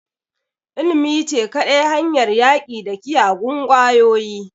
Ilimi ce kadai hanyar yaƙi da kiyagun ƙwayoyi